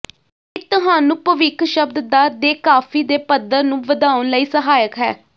ਇਹ ਤੁਹਾਨੂੰ ਭਵਿੱਖ ਸ਼ਬਦ ਦਾ ਦੇਕਾਫ਼ੀ ਦੇ ਪੱਧਰ ਨੂੰ ਵਧਾਉਣ ਲਈ ਸਹਾਇਕ ਹੈ